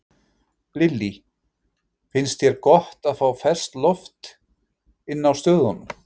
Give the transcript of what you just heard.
Lillý: Finnst þér gott að fá ferskt loft inn á stöðunum?